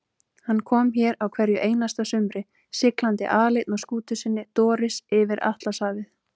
Hann kom hér á hverju einasta sumri, siglandi aleinn á skútu sinni Doris yfir Atlantshafið.